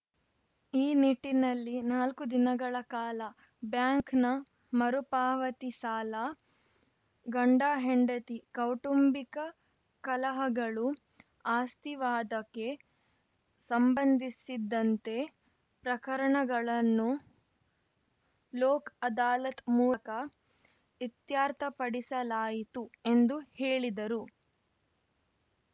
ಈ ನಿಟ್ಟಿನಲ್ಲಿ ನಾಲ್ಕು ದಿನಗಳ ಕಾಲ ಬ್ಯಾಂಕ್ನ ಮರುಪಾವತಿ ಸಾಲ ಗಂಡ ಹೆಂಡತಿ ಕೌಟುಂಬಿಕ ಕಲಹಗಳು ಆಸ್ತಿ ವಾದಕ್ಕೆ ಸಂಬಂಧಿಸಿದಂತೆ ಪ್ರಕರಣಗಳನ್ನು ಲೋಕ್‌ ಅದಾಲತ್‌ ಮೂಲಕ ಇತ್ಯರ್ಥಪಡಿಸಲಾಯಿತು ಎಂದು ಹೇಳಿದರು